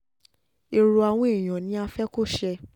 èrò àwọn èèyàn ni a fẹ́ kó ṣe